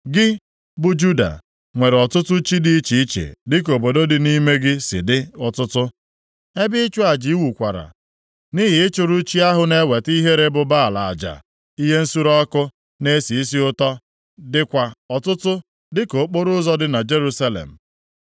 Gị, bụ Juda, nwere ọtụtụ chi dị iche iche dịka obodo dị nʼime gị si dị ọtụtụ. Ebe ịchụ aja i wukwara nʼihi ịchụrụ chi ahụ na-eweta ihere bụ Baal aja ihe nsure ọkụ na-esi isi ụtọ, dịkwa ọtụtụ dịka okporoụzọ dị na Jerusalem.’